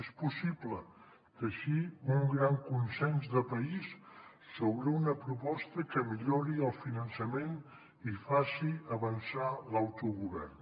és possible teixir un gran consens de país sobre una proposta que millori el finançament i faci avançar l’autogovern